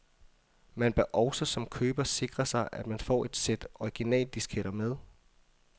Man bør også som køber sikre sig, at man får et sæt originaldisketter med.